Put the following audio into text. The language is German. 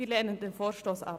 Wir lehnen den Vorstoss ab.